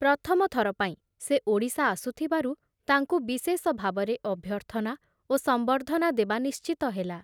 ପ୍ରଥମ ଥର ପାଇଁ ସେ ଓଡ଼ିଶା ଆସୁଥିବାରୁ ତାଙ୍କୁ ବିଶେଷ ଭାବରେ ଅଭ୍ୟର୍ଥନା ଓ ସମ୍ବର୍ଦ୍ଧନା ଦେବା ନିଶ୍ଚିତ ହେଲା ।